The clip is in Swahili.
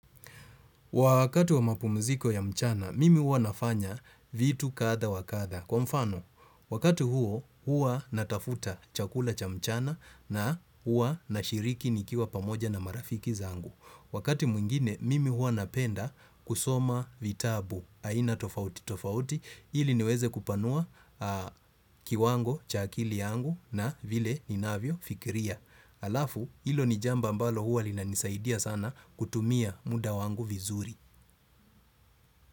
Wakati wa mapumziko ya mchana, mimi uwa nafanya vitu kadha wa kadha. Kwa mfano, wakatu huo, huwa natafuta chakula cha mchana na huwa nashiriki nikiwa pamoja na marafiki zangu. Wakati mwingine, mimi hua napenda kusoma vitabu, aina tofauti tofauti, ili niweze kupanua kiwango cha akili yangu na vile ninavyofikiria. Alafu ilo ni jambo ambalo huwa linanisaidia sana kutumia muda wangu vizuri.